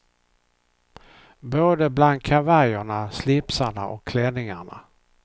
Både bland kavajerna, slipsarna och klänningarna.